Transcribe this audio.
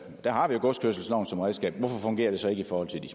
har vi jo godskørselsloven som redskab hvorfor fungerer det så ikke i forhold til de